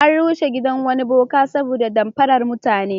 An rushe gidan wani boka saboda damfarar mutane.